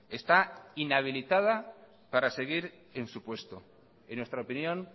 está inhabilitada para seguir en su puesto en nuestra opinión